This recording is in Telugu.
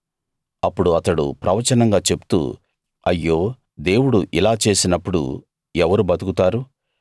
అప్పుడు అతడు ప్రవచనంగా చెప్తూ అయ్యో దేవుడు ఇలా చేసినప్పుడు ఎవరు బతుకుతారు